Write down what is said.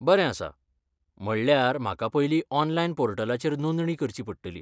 बरें आसा! म्हणल्यार म्हाका पयलीं ऑनलायन पोर्टलाचेर नोंदणी करची पडटली.